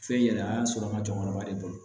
Fɛn yɛlɛma sɔrɔ an ka jɔyɔrɔba de bolo